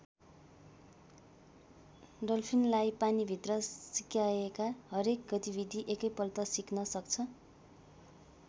डल्फिनलाई पानीभित्र सिकाएका हरेक गतिविधि एकैपल्ट सिक्न सक्छ।